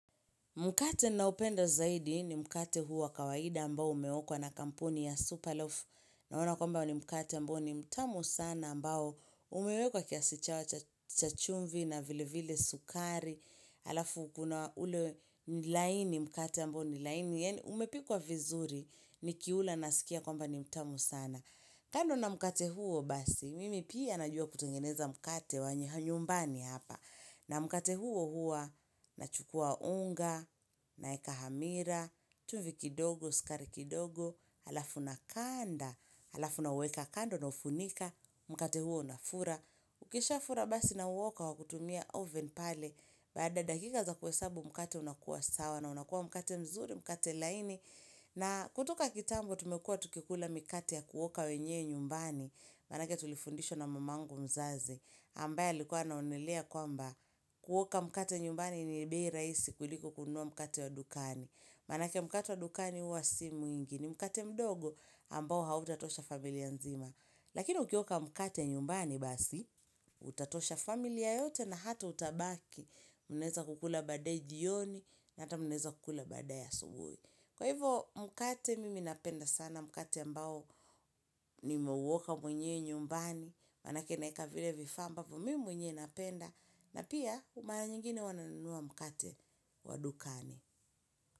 Mkate na upendo zaidi ni mkate huo kawaida ambao umeokwa na kampuni ya superloaf. Na wana kwamba ni mkate ambao ni mtamu sana ambao umewekwa kiasichawa chachumvi na vile vile sukari. Alafu kuna ule nilaini mkate ambao nilaini. Umepikuwa vizuri ni kiula nasikia kwamba ni mtamu sana. Kando na mkate huo basi, mimi pia najua kutengeneza mkate wanyanyumbani hapa. Na mkate huo hua, na chukua unga, na eka hamira, chumvi kidogo, sukari kidogo, alafu na kanda, alafu na weka kando na ufunika, mkate huo na fura. Ukisha fura basi na uoka wakutumia oven pale, baada dakika za kuesabu mkate unakuwa sawa na unakuwa mkate mzuri, mkate laini. Na kutuka kitambo tumekua tukikula mikate ya kuoka wenye nyumbani, manake tulifundisho na mamangu mzaze, ambaye likuwa naonelea kwamba kuoka mikate nyumbani ni nibei raisi kuliko kunua mikate wa dukani. Manake mikate wa dukani huwa si mwingi, ni mikate mdogo ambao hautatosha familia nzima. Lakini ukioka mikate nyumbani basi, utatosha familia yote na hata utabaki, muneza kukula badae jioni na hata muneza kukula badae ya subuhi. Kwa hivyo mkate mimi napenda sana, mkate mbao ni meuoka mwenye nyumbani, manake naika vile vifamba, mimi mwenye napenda, na pia umara nyingine wananua mkate wadukani.